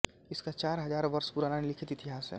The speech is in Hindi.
इसका चार हज़ार वर्ष पुराना लिखित इतिहास है